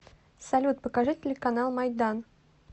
салют покажи телеканал майдан